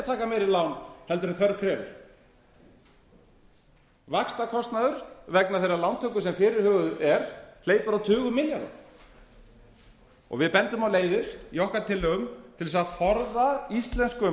meiri lán heldur en þörf krefur vaxtakostnaður vegna þeirrar lántöku sem fyrirhuguð er hleypur á tugum milljarða við bendum á leiðir í okkar tillögum til þess að forða íslenskum